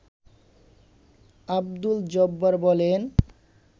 আব্দুল জব্বার বলেন